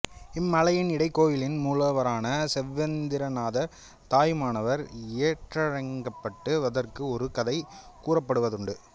இம்மலையின் இடைக்கோயிலின் மூலவரான செவ்வந்திநாதர் தாயுமானவர் என்றழைக்கப்படுவதற்கு ஒரு கதை கூறப்படுவதுண்டு